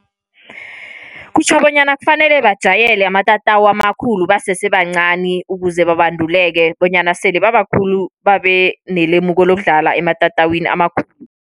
Kutjho bonyana kufanele bajayele amatatawu amakhulu basesebancani. Ukuze babanduleke bonyana sele baba khulu babenelemuko lokudlala ematatawini amakhulu.